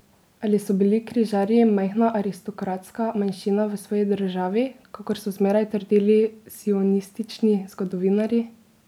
Ali so bili križarji majhna aristokratska manjšina v svoji državi, kakor so zmeraj trdili sionistični zgodovinarji?